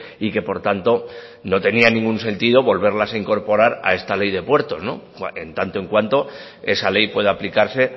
y que por tanto ya no tenían ningún sentido volverlas a incorporar a esta ley de puertos en tanto en cuanto esa ley pueda aplicarse